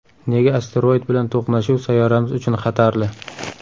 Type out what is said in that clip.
Nega asteroid bilan to‘qnashuv sayyoramiz uchun xatarli?.